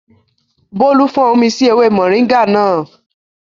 Bólú fọ́n omi sí ewé mọ̀ríńgà náà